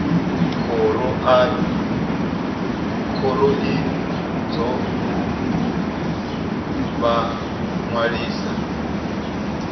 khoro i ḓo vha ṅwalisa